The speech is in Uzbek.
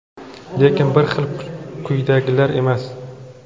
lekin bir xil kuydagilar emas.